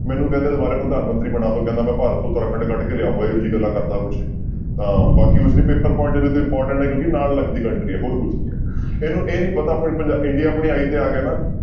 ਮੈਨੂੰ ਕਹਿੰਦੇ ਦੁਬਾਰੇ ਪ੍ਰਧਾਨਮੰਤਰੀ ਬਣਾ ਦਓ ਕਹਿੰਦਾ ਮੈਂ ਭਾਰਤ ਉੱਤਰਾਖੰਡ ਕੱਢ ਕੇ ਲਿਆਊਂਗਾ ਇਹੋ ਜਿਹੀ ਗੱਲਾਂ ਕਰਦਾ ਕੁਛ, ਤਾਂ ਬਾਕੀ ਉਸਦੀ ਪੇਪਰ important ਹੈ ਕਿਉਂਕਿ ਨਾਲ ਲੱਗਦੀ country ਹੈ ਹੋਰ ਕੁਛ ਨੀ ਹੈ, ਇਹਨੂੰ ਇਹ ਨੀ ਪਤਾ ਆਪਣਾ ਪੰਜਾ india ਆਪਣੀ ਆਈ ਤੇ ਆ ਗਿਆ ਨਾ